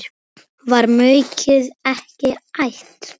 Var maukið ekki ætt?